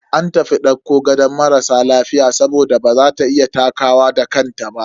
An tafi dauko gadon marasa lafiya saboda baza ta iya takawa da kanta ba.